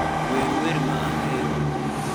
wer wer ma ahero